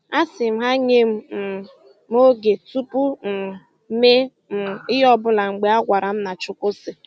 A sị m ha nye um m oge tupu um mee um ihe ọbụla mgbe a gwara m na "Chukwu sị"